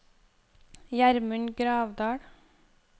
Gjermund Gravdal